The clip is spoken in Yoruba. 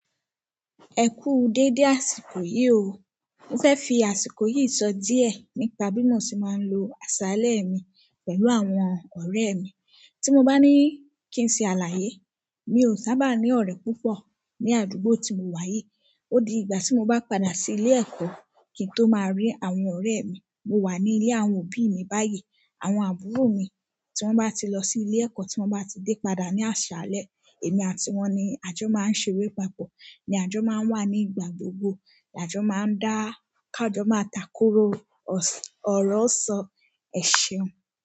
Ẹ kú dédé àsìkò yìí o. Mo fẹ́ fi àsìkò yìí sọ díẹ̀ nípa bí mo ṣe máa ń lo àṣàalẹ́ mi pẹ̀lú àwọn ọ̀rẹ́ mi. Tí mo bá ní kí n ṣe àlàyé, mi ò sábà ní ọ̀rẹ́ púpọ̀ ní àdúgbò tí mo wà yìí. Ó di ìgbà tí mo bá padà sí ilé ẹ̀kọ́ kí n tó máa rí àwọn ọ̀rẹ́ mi. Mo wà ní ilé àwọn òbí mi báyìí. Àwọn àbúrò mi tí wọ́n bá ti lọ sí ilé ẹ̀kọ́, tí wọ́n bá ti dé padà ní àṣàalẹ́, èmi àti wọ́n ni ajọ máa ń ṣeré papọ̀. Ni àjọ máa ń wà ní ìgbà gbogbo. Ajọ ma ń dá, ká jọ ma takoro. Ọ̀rọ̀ sọ, ẹ ṣeun.